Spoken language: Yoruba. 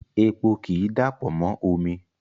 Epo ki i dapọ mo omi